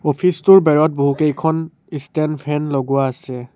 Office টোৰ বেৰত বহুকেইখন ষ্টেণ্ড ফেন লগোৱা আছে।